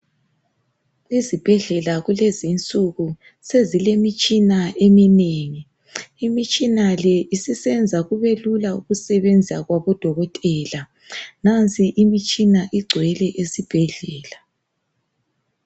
Ezibhedlela kulezinsuku sezilemitshina eminengi. Imitshina le isisenza kube lula ukusebenza kwabodokotela nansi imitshina igcwele esibhedlela.